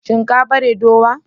Shin kan bare dowa?